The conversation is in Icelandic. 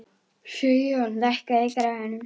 Sigjón, lækkaðu í græjunum.